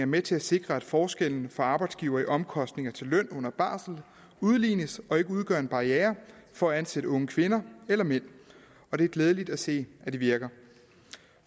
med til at sikre at forskellene for arbejdsgivere i omkostninger til løn under barsel udlignes og ikke udgør en barriere for at ansætte unge kvinder eller mænd det er glædeligt at se at det virker